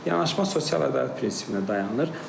Yanaşma sosial ədalət prinsipinə dayanır.